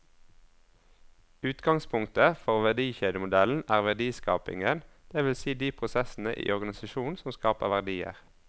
Utgangspunktet for verdikjedemodellen er verdiskapingen, det vil si de prosessene i organisasjonen som skaper verdier.